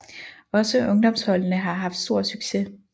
Også ungdomsholdene har haft stor succes